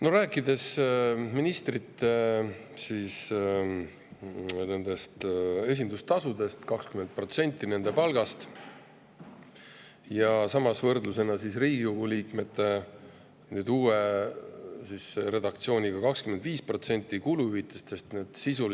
Me räägime ministrite esindus, 20%‑st nende palgast, ja võrdlusena Riigikogu liikmete kuluhüvitistest, uue redaktsiooni kohaselt 25%.